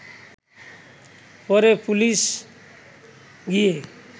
পরে পুলিশ গিয়ে